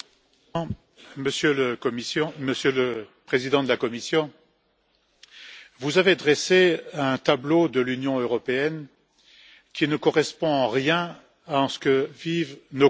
Monsieur le Président, Monsieur le Président de la Commission, vous avez dressé un tableau de l'Union européenne qui ne correspond en rien à ce que vivent nos concitoyens.